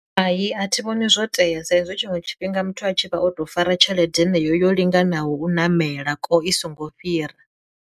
Hai a thi vhoni zwo tea sa izwi tshiṅwe tshifhinga muthu a tshi vha o to fara tshelede heneyo yo linganaho u ṋamela kwo i songo fhira.